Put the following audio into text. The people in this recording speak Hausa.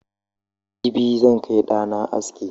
Jibi zan kai da'na aski.